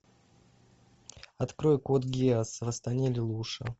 открой код гиас восстание лелуша